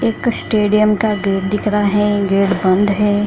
एक स्टेडियम का गेट दिख रहा है गेट बंद है।